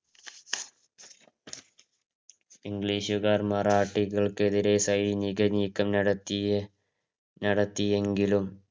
ഇംഗ്ലീഷുക്കാർ മറാഠികള്ക്ക് നേരെ സൈനിക നീകമ നടത്തിയ നടത്തിയെങ്കിലും